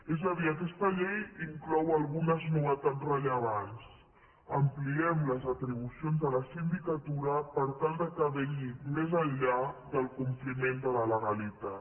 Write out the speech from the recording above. és a dir aquesta llei inclou algunes novetats rellevants ampliem les atribucions de la sindicatura per tal que vetlli més enllà del compliment de la legalitat